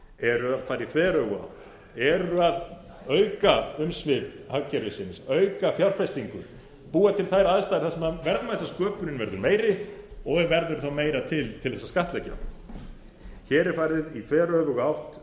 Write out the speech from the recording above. eru að fara í þveröfuga átt eru að auka umsvif hagkerfisins búa til fjárfestingu búa til þær aðstæður þar sem verðmætasköpunin verður meiri og verður þá meira til til að skattleggja hér er farið í þveröfuga átt